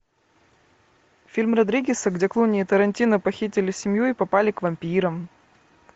фильм родригеса где клуни и тарантино похитили семью и попали к вампирам